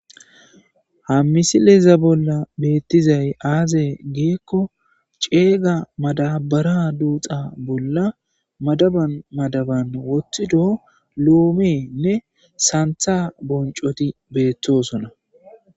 Ha missileza bola betizay aze giko c'ega madabara dudha bola madaban madaban wothido lomeynne santa bonc'oti betosona.